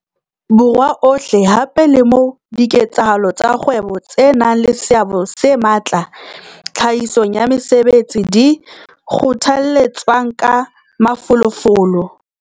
Borwa ohle hape le moo diketsahalo tsa kgwebo tse nang le seabo se matla tlhahisong ya mesebetsi di kgothaletswang ka mafolofolo.